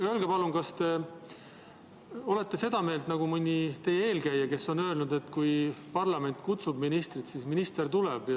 Öelge palun, kas te olete seda meelt nagu mõni teie eelkäija, kes on öelnud, et kui parlament kutsub ministrit, siis minister tuleb.